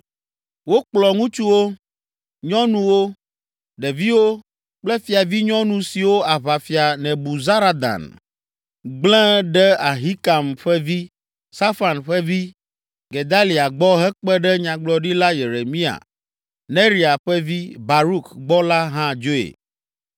Wokplɔ ŋutsuwo, nyɔnuwo, ɖeviwo kple fiavinyɔnu siwo aʋafia, Nebuzaradan gblẽ ɖe Ahikam ƒe vi, Safan ƒe vi, Gedalia gbɔ hekpe ɖe Nyagblɔɖila Yeremia, Neria ƒe vi, Baruk gbɔ la hã dzoe.